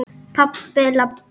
Pabbi- labb.